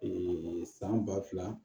san ba fila